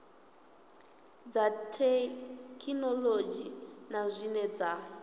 dza thekhinolodzhi na zwine dza